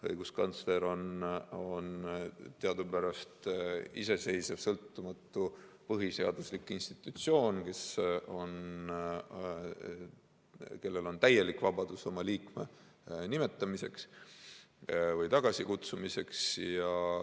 Õiguskantsler on teadupärast iseseisev sõltumatu põhiseaduslik institutsioon, kellel on täielik vabadus liikme nimetamiseks või tagasikutsumiseks.